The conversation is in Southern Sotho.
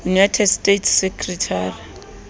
united states secretary